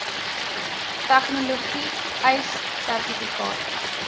tegnologie ace sertifikate